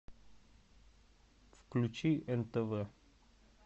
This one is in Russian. включи нтв